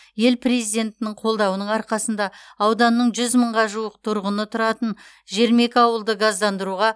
ел президентінің қолдауының арқасында ауданның жүз мыңға жуық тұрғыны тұратын жиырма екі ауылды газдандыруға